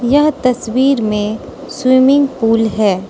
यह तस्वीर मे स्विमिंग पूल है।